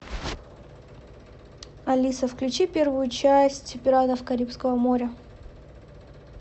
алиса включи первую часть пиратов карибского моря